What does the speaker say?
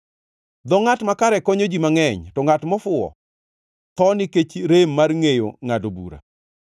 Dho ngʼat makare konyo ji mangʼeny, to ngʼat mofuwo tho nikech rem mar ngʼeyo ngʼado bura.